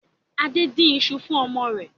Adé ń dín ìṣù fún ọmọ rẹ̀